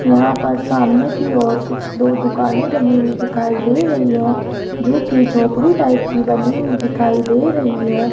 यहां पर सामने की ओर कुछ दो दुकानें बनी हुई दिखाई दे रही है जो की झोपड़ी टाइप की बनी हुई दिखाई दे रही है।